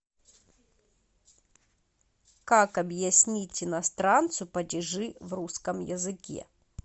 как объяснить иностранцу падежи в русском языке